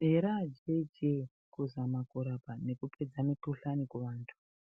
Here ajechee kuzama kurapa nekupedza mikuhlani kuvantu